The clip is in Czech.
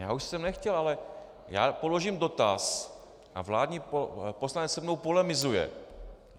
Já už jsem nechtěl, ale já položím dotaz a vládní poslanec se mnou polemizuje.